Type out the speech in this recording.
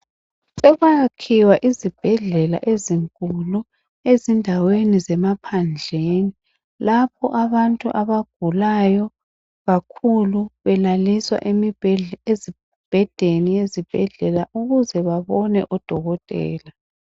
Sekwayakhiwa izibhedlela ezinkulu ezindaweni zemaphandleni lapho abantu abagulayo kakhulu belaliswa emibhedeni yezibhedlela ukuze babone odokotela.